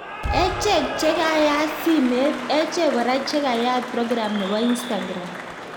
Echek chekeyate simet, echek kora chekeyate program nebo instagram